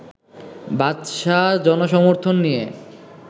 বাদশাহ জনসমর্থন নিয়ে